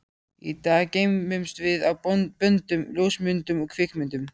Í dag geymumst við á böndum, ljósmyndum, kvikmyndum.